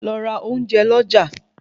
Lọ ra ounjẹ lọ já